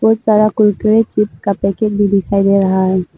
बहुत सारा कुरकुरे चिप्स का पैकेट भी दिखाई दे रहा है।